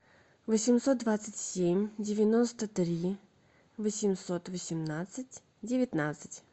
восемьсот двадцать семь девяносто три восемьсот восемнадцать девятнадцать